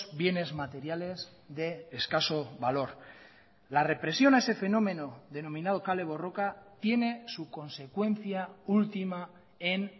bienes materiales de escaso valor la represión a ese fenómeno denominado kale borroka tiene su consecuencia última en